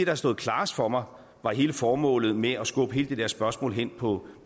har stået klarest for mig var hele formålet med at skubbe det spørgsmål hen på